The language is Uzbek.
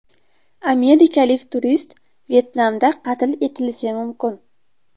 Amerikalik turist Vyetnamda qatl etilishi mumkin.